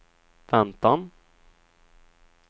väntan